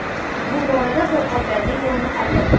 Bu borada qo‘lqoplarning o‘rni qanday?